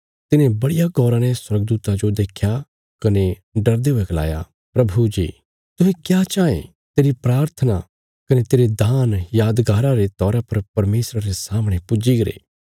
तिने बड़िया गौरा ने स्वर्गदूता जो देख्या कने डरदे हुये गलाया प्रभु जी तुहें क्या चाँये तेरी प्राथना कने तेरे दान यादगारा रे तौरा पर परमेशरा रे सामणे पुज्जी गरे